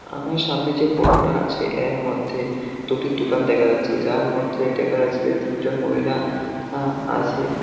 আমার সামনে যে ফটোটা টা আছে এর মধ্যে দুটি দোকান দেখা যাচ্ছে যার মধ্যে দেখা যাচ্ছে যে তিনজন মহিলা আ আছে।